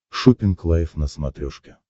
шоппинг лайф на смотрешке